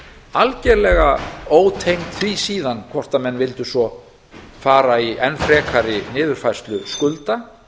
algerlega ótengd því síðan hvort menn vildu svo fara í enn frekari niðurfærslu skulda